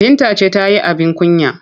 Binta ce ta yi abin kunya.